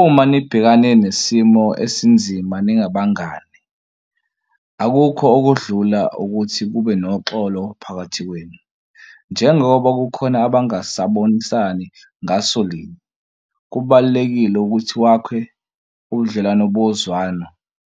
Uma nibhekane nesimo esinzima ningabangani akukho okudlula ukuthi kube noxolo phakathi kwenu. Njengoba kukhona abangasabonisani ngasolinye kubalulekile ukuthi wakhe ubudlelwano bozwano